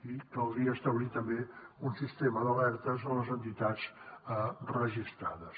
i caldria establir també un sistema d’alertes a les entitats registrades